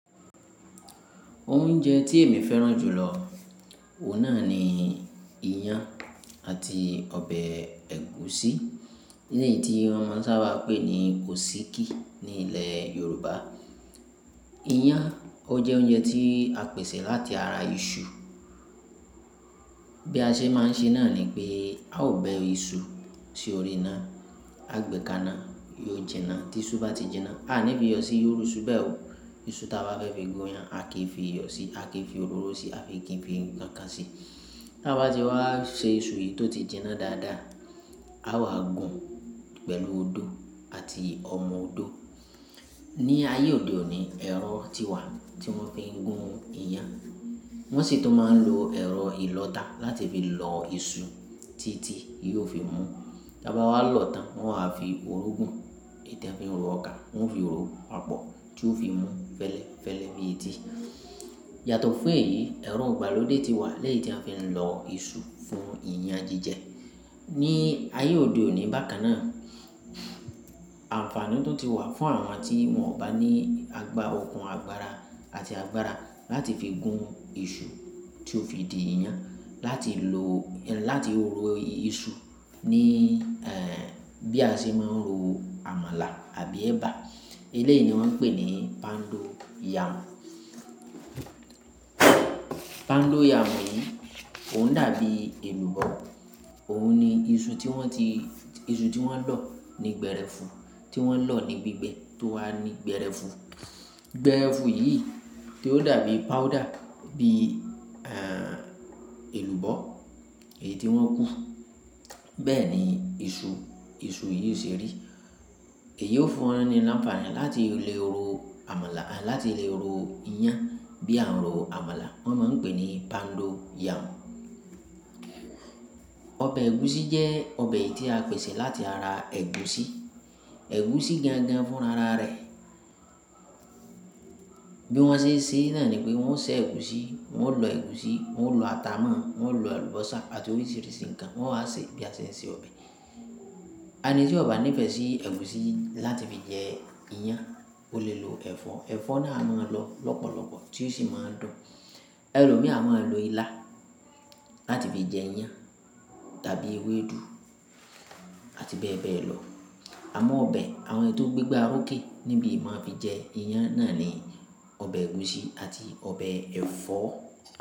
Oúnjẹ tí èmi fẹ́ràn jù lọ, òun náà ni ìyàn àti ọbẹ̀ ẹ̀gúsí, eléyìí tí wọn mo ṣáabà ń pè ní osíkí ní ilẹ̀ Yorùbá. Ìyàn, ó jẹ́ oúnjẹ tí a pèsè láti ara iṣu. Bí a ṣe máa ń ṣe náà ni pé a ó bẹ iṣu sí orí iná, a gb ka ina yóò jinná. Tí iṣu bá ti jinná, a à ní fi yọ sí iru isu beẹ̀ ò. Iṣu tí a bá fẹ́ fi gun ìyàn, a kì í fi iyọ sí, a kì í fi òróró sí, a a ki fi ńkankan sí i. Tí a bá ti wá ṣe iṣu yìí tó ti jinná dáadáa, a wàá gùn pẹ̀lú odó àti ọmọ odó. Ni ayé òde òní, ẹ̀rọ ti wà tí wọ́n fi ń gun ìyàn. Wọ́n sì tun máa ń lo ẹ̀rọ ìlọ̀ta láti fi lọ iṣu títí yóò fi mú. Tí a bá wá lọ̀tan, wọn a fi òrógùn. Eyi ti won finro ọkà, wọn ó fi ro papọ̀ tí ó fi mú fẹ́lẹ́fẹ́lẹ́ bíi eti Yàtọ̀ fún èyí, ẹ̀rọ igbálodé ti wà leyii tí a fi ń lọ iṣu fún ìyàn jíjẹ. Ni ayé òde òní bákan náà, ànfààní tun ti wà fún àwọn tí wọn ò bá ní agbá okùn agbára àti agbára láti fi gun iṣu tí ó fi di ìyàn, láti lo-- láti ro iṣu ní, ẹ́ẹ̀, bí a ṣe máa ń ro àmàlà àbí ẹba. Eléyìí ni wọ́n ń pè ní poundo yam. Poundo yam yìí, òun dàbí èlùbọ́. Òun ni iṣu tí wọ́n ti-- iṣu tí wọ́n lọ̀ ní gbẹ́rẹ́fun, tí wọ́n lọ̀ ní gbígbẹ́ tó wà ní gbẹ́rẹ́fun. Gbẹ́rẹ́fun yìí tí ó dàbí powder, bí, ẹ́ẹ̀, èlùbọ́ èyí tí wọ́n kú, bẹ́ẹ̀ ni iṣu, iṣu yìí o ṣe rí. Èyí ó fún wọn ní ànfààní láti lè ro àmàlà, à, láti lè ro ìyàn bí a ń ro àmàlà. Wọ́n máa ń pè é ní poundo yam. Ọbẹ̀ ẹ̀gúsí jẹ́ ọbẹ̀ tí a pèsè láti ara ẹ̀gúsí. Ẹ̀gúsí gangan fún rara rẹ̀. Bí wọ́n ṣe ń ṣe náà ni pé wọ́n ń ṣẹ́ ẹ̀gúsí, wọ́n ó lọ ẹ̀gúsí, wọ́n ó lọ ata mọ́, wọ́n ó lọ àlùbọ́sà àti oríṣìíríṣìí ǹkan wọ́n wa sì bí a ṣe ń se ọbẹ̀. Ẹni tí ó bá nífẹ̀ẹ́ sí ẹ̀gúsí láti fi jẹ ìyàn, ó lè lo ẹ̀fọ́. Ẹ̀fọ́ náà a máa lọ lọ́pọ̀lọpọ̀ tí ó sì máa ń dùn. Ẹ̀lòmíràn a máa lo ilá láti fi jẹ ìyàn tàbí ewédú àti bẹ́ẹ̀ bẹ́ẹ̀ lọ. Àmọ́ ọbẹ̀ àwọn eyi ti o gbégbá orókè níbí i maa fi jẹ ìyàn náà ni ọbẹ̀ ẹ̀gúsí àti ọbẹ̀ ẹ̀fọ́.